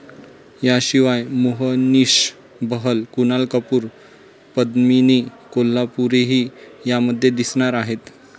याशिवाय मोहनीश बहल, कुणाल कपूर, पद्मिनी कोल्हापुरेही यामध्ये दिसणार आहेत.